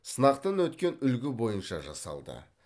сынақтан өткен үлгі бойынша жасалды